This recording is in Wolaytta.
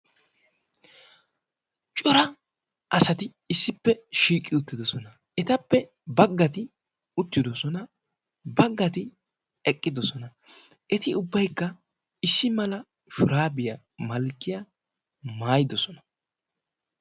Cora asati issippe shiiqi uttidosona. Etappe baggati uttidosona. Baggati eqqidosona. Etti ubbaykka issi mala shurabiyaa malkkiyaa maayidosona.